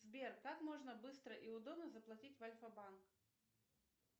сбер как можно быстро и удобно заплатить в альфабанк